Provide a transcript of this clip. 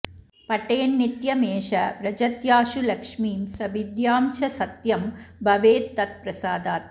पठेन्नित्यमेष व्रजत्याशु लक्ष्मीं स विद्यां च सत्यं भवेत्तत्प्रसादात्